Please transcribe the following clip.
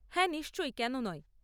হ্যাঁ নিশ্চয়, কেন নয়?